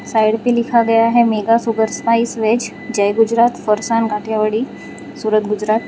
Side पे लिखा गया है mega sugar spice veg Jai Gujarat Farsan Kathiyawadi Surat Gujarat.